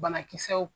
Banakisɛw